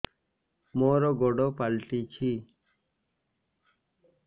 ମୋର ଗୋଡ଼ ପାଲଟିଛି